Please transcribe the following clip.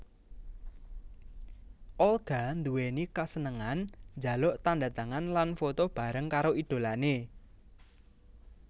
Olga nduwéni kasenengan njaluk tandhatangan lan foto bareng karo idholané